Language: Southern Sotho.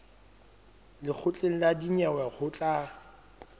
lekgotleng la dinyewe ho tla